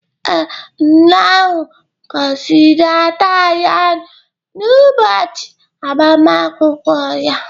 ee, nna ahụ gọziri ada ya n’ụbọchị agbamakwụkwọ ya